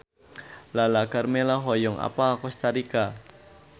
Lala Karmela hoyong apal Kosta Rika